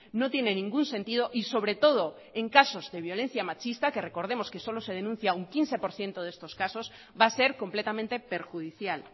no tiene ningún sentido y sobre todo en casos de violencia machista que recordemos que solo se denuncia un quince por ciento de estos casos va a ser completamente perjudicial